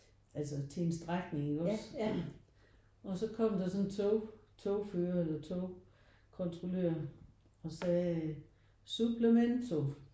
Altså til en strækning iggås og så kom der sådan en tog togfører eller togkontrollør og sagde: suplemento